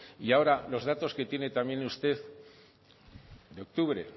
y ahora los datos que tiene también usted de octubre